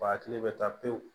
Ba hakili bɛ taa pewu